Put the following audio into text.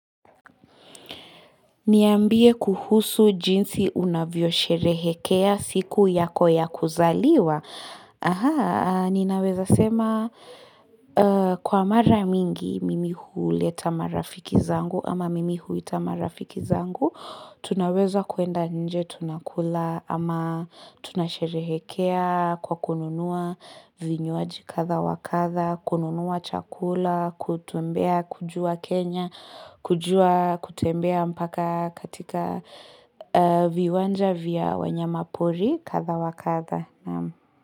Niambie kuhusu jinsi unavyosherehekea siku yako ya kuzaliwa. Ninaweza sema kwa mara mingi mimi huleta marafiki zangu ama mimi huita marafiki zangu. Tunaweza kwenda nje tunakula ama tunasherehekea kwa kununua vinywaji kadha wakadha, kununua chakula, kutembea kujua Kenya, kujua kutembea mpaka katika viwanja vya wanyama pori katha wa katha.